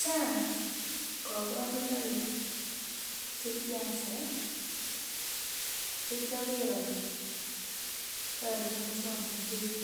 Chang kaborunoik che kiasir chekioker ole toreti muswongnotet